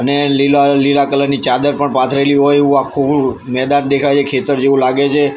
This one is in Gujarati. અને લીલા-લીલા કલર ની ચાદર પણ પાથરેલી હોય એવુ આખુ મેદાન દેખાય છે ખેતર જેવું લાગે છે.